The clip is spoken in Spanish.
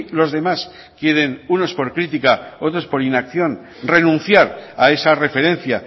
los demás quieren unos por crítica otros por inacción renunciar a esa referencia